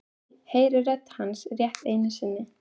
Heyri rödd hans rétt einu sinni.